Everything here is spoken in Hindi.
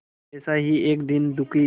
ऐसा ही एक दीन दुखी